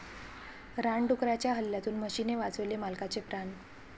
रानडुकराच्या हल्ल्यातून म्हशीने वाचवले मालकाचे प्राण!